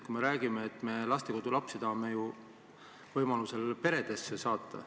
Me räägime, et me tahame lastekodulapsi võimaluse korral peredesse saata.